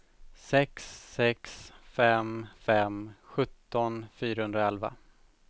sex sex fem fem sjutton fyrahundraelva